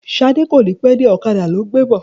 Ṣadé kò ní pẹ́ dé, ọ̀kadà ló ń gbé bọ̀.